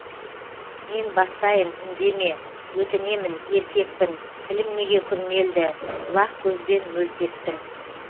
мен бастайын үндеме өтінемін еркекпін тілім неге күрмелді бұлақ көзбен мөлт еттің